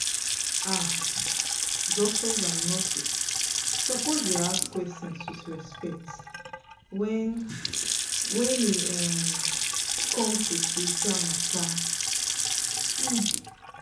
ah doctors and nurses suppose dey ask questions with respect wen wen e um come to spiritual matter. um